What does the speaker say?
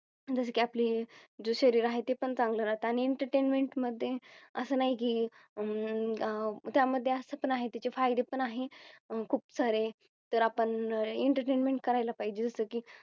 जसं की आपली जो शरीर आहे ते पण चांगलं राहतं आणि Entertainment मध्ये असं नाही की अं त्यामध्ये असं पण आहेत याचे फायदे पण आहे खूप सारे तर आपण Entertainment करायला पाहिजे जस की